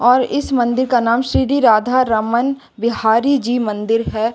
और इस मंदिर का नाम श्री राधा रमन बिहारी जी मंदिर है।